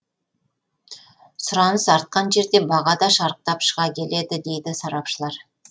сұраныс артқан жерде баға да шарықтап шыға келеді дейді сарапшылар